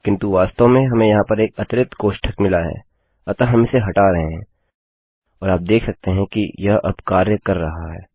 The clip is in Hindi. किन्तु वास्तव में हमें यहाँ पर एक अतिरिक्त कोष्ठक मिला है अतः हम इसे हटा रहे हैं और आप देख सकते हैं कि यह अब कार्य कर रहा है